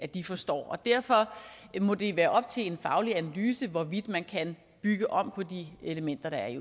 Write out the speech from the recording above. de forstår derfor må det være op til en faglig analyse hvorvidt man kan bygge om på de elementer der er i